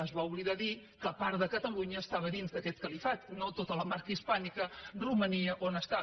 es va oblidar de dir que part de catalunya era dins d’aquest califat no tota la marca hispànica romania on està